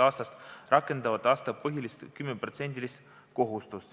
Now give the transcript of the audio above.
aastast rakenduv aastapõhine 10% kohustus.